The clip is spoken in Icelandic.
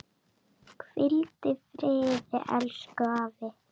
Hvíld í friði, elsku afi.